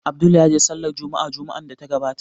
Abdul ya je Sallar Jumma'a Juma'an da ta gabata